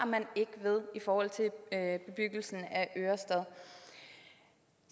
man ikke ved i forhold til bebyggelsen af ørestad